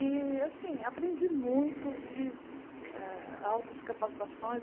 E, assim, aprendi muito, fiz ah altas capacitações.